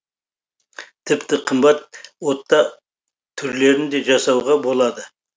тіпті қымбат ота түрлерін де жасауға болады